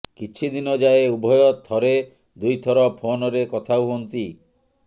କିଛି ଦିନ ଯାଏଁ ଉଭୟ ଥରେ ଦୁଇ ଥର ଫୋନ ରେ କଥା ହୁଅନ୍ତି